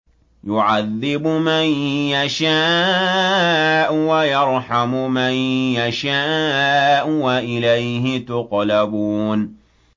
يُعَذِّبُ مَن يَشَاءُ وَيَرْحَمُ مَن يَشَاءُ ۖ وَإِلَيْهِ تُقْلَبُونَ